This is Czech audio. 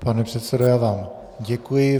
Pane předsedo, já vám děkuji.